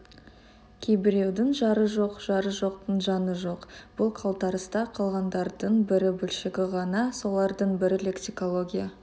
кейбіреудің жары жоқ жары жоқтың жаны жоқ бұл қалтарыста қалғандардың бір бөлшегі ғана солардың бірі лексикология